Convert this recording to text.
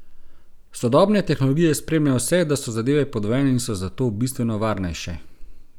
Sodobne tehnologije spremljajo vse, da so zadeve podvojene in so zato bistveno varnejše.